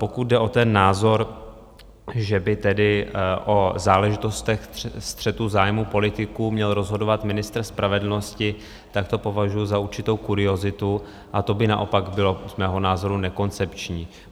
Pokud jde o ten názor, že by tedy o záležitostech střetu zájmů politiků měl rozhodovat ministr spravedlnosti, tak to považuji za určitou kuriozitu a to by naopak bylo z mého názoru nekoncepční.